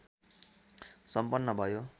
सम्पन्न भयो